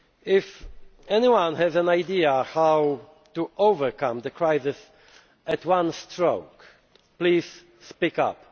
If anyone has an idea about how to overcome the crisis at one stroke, please speak